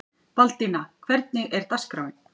Baldína, hvernig er dagskráin?